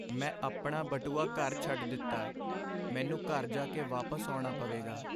ਮੈਂ ਆਪਣਾ ਬਟੂਆ ਘਰ ਛੱਡ ਦਿੱਤਾ। ਮੈਨੂੰ ਘਰ ਜਾ ਕੇ ਵਾਪਸ ਆਉਣਾ ਪਵੇਗਾ।